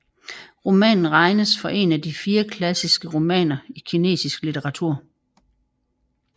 Romanen regnes for en af de De fire klassiske romaner i kinesisk litteratur